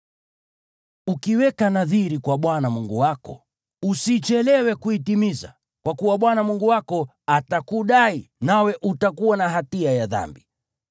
Ukiweka nadhiri kwa Bwana Mungu wako, usichelewe kuitimiza, kwa kuwa Bwana Mungu wako atakudai, nawe utakuwa na hatia ya dhambi.